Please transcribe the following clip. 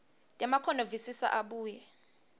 temakhono visisa abuye